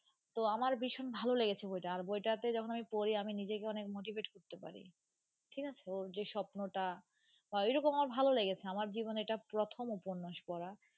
তো আমার ভীষণ ভালো লেগেছে বইটা, আর বইটাতে যখন আমি পড়ি আমি নিজেকে অনেক motivate করতে পারি ঠিক আছে. ওর যে স্বপ্নটা আহ ওইরকম আমার ভালো লেগেছে আমার জীবনে এটা প্রথম উপন্যাস পড়া.